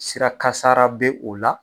Sira kasara be o la